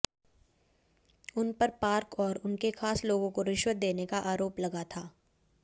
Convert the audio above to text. उनपर पार्क और उनके खास लोगों को रिश्वत देने का आरोप लगा था